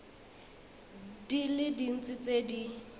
di le dintsi tse di